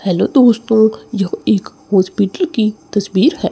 Hello दोस्तों यह एक हॉस्पिटल की तस्वीर है।